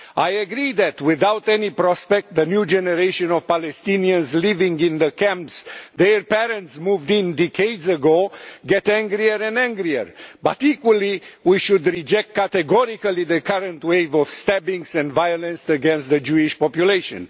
I agree that without any prospects, the new generation of Palestinians living in camps, with parents who moved in decades ago, get angrier and angrier. But equally we should reject categorically the current wave of stabbings and violence against the Jewish population.